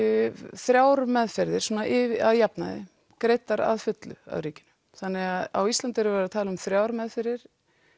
þrjár meðferðir að jafnaði greiddar að fullu af ríkinu þannig að á Íslandi er verið að tala um þrjár meðferðir